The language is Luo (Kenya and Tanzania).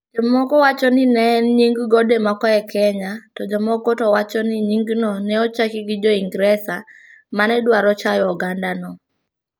Jomoko wacho ni ne en nying gode moko e Kenya, to jomoko to wacho ni nyingno ne ochaki gi Jo-Ingresa ma ne dwaro chayo ogandano.